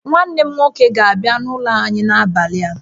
Nwanne m nwoke ga-abia n'ụlọ anyị n'abalị a